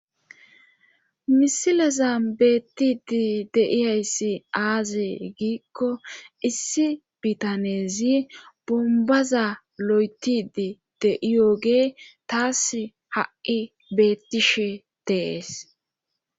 misileza beettidi de'iyayssi aaze giikko issi bitaneezi bombaza lo'etidi de'iyogee taas ha'i beettishe deees